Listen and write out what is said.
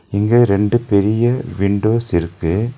இங்க ரெண்டு பெரிய விண்டோஸ் இருக்கு.